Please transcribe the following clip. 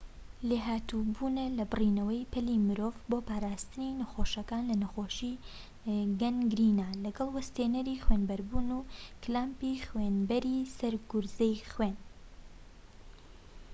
لێھاتوو بوونە لە بڕینەوەی پەلی مرۆڤ بۆ پاراستنی نەخۆشەکان لە نەخۆشی گەنگرینا لەگەڵ وەستێنەری خوێنبەربوون و کلامپی خوێنبەری سەر گوزەری خوێن